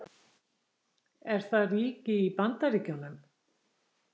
Er það ríki í Bandaríkjunum?